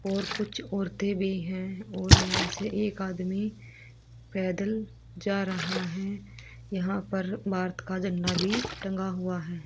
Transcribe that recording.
और कुछ औरतें भी हैं और यहां से एक आदमी पैदल जा रहा है यहां पर भारत का झंडा भी टंगा हुआ है।